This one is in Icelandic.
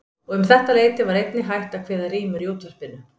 Og um þetta leyti var einnig hætt að kveða rímur í útvarpinu.